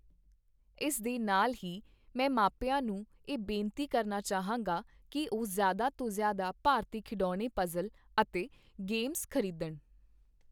ਇਸ ਦੇ ਨਾਲ ਹੀ ਮੈਂ ਮਾਪਿਆਂ ਨੂੰ ਇਹ ਬੇਨਤੀ ਕਰਨਾ ਚਾਹਾਂਗਾ ਕੀ ਉਹ ਜ਼ਿਆਦਾ ਤੋਂ ਜ਼ਿਆਦਾ ਭਾਰਤੀ ਖਿਡੌਣੇ ਪਜ਼ਲ ਅਤੇ ਗੇਮਸ ਖ਼ਰੀਦਣ।